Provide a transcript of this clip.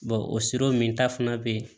o siraw min ta fana bɛ yen